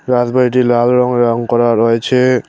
রাজবাড়িটি লাল রঙের রং করা রয়েছে।